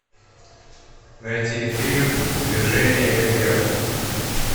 найти фильм движение вверх